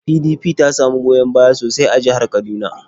PDP ta samu goyon baya sosai a jihar Kaduna.